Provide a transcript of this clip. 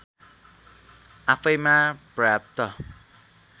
आफैँमा पर्याप्त